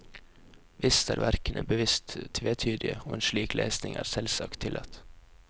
Visst er verkene bevisst tvetydige, og en slik lesning er selvsagt tillatt.